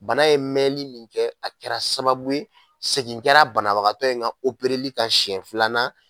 Bana ye mɛnli min kɛ a kɛra sababu ye segin kɛra banabagatɔ in ka li ka siyɛn filanan